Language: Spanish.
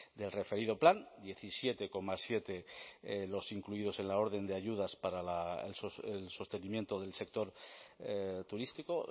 del referido plan diecisiete coma siete los incluidos en la orden de ayudas para el sostenimiento del sector turístico